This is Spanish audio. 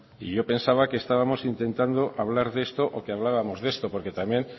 y yo pensaba que estábamos intentando hablar de esto o que hablábamos de esto porque también